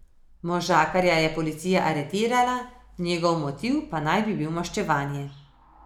Možakarja je policija aretirala, njegov motiv pa bi naj bil maščevanje.